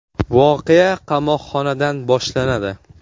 Voqea qamoqxonadan boshlanadi.